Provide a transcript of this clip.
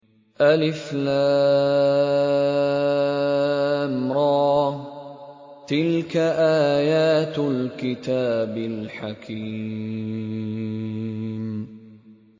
الر ۚ تِلْكَ آيَاتُ الْكِتَابِ الْحَكِيمِ